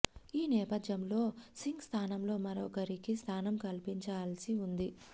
ఈ నేపథ్యంలో సింగ్ స్థానంలో మరొక రికి స్థానం కల్పించాల్సి ఉంది